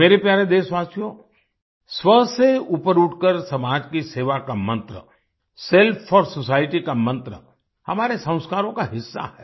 मेरे प्यारे देशवासियो स्व से ऊपर उठकर समाज की सेवा का मंत्र सेल्फ फोर सोसाइटी का मंत्र हमारे संस्कारों का हिस्सा है